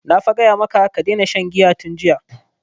Na fa gaya maka ka daina shan giya tun jiya!